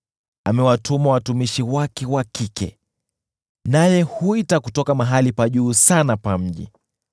Amewatuma watumishi wake wa kike, naye huita kutoka mahali pa juu sana pa mji.